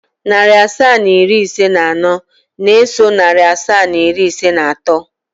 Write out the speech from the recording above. Narị asaa na iri ise na anọ na-eso narị asaa na iri ise na atọ.